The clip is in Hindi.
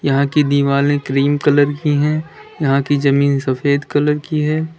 यहां की दिवाले क्रीम कलर की है यहां की जमीन सफेद कलर की है।